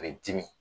A bɛ dimi